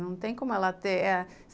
Não tem como ela ter.